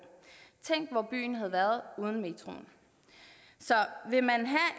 tænk hvor byen havde været uden metroen så vil man have